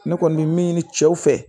Ne kɔni bɛ min ɲini cɛw fɛ